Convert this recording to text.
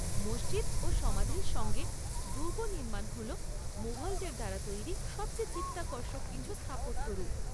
মসজিদ ও সমাধির সঙ্গে দুর্গ নির্মাণ হল মুঘলদের দ্বারা তৈরি সবচেয়ে চিত্তাকর্ষক কিছু স্থাপত্য রূপ।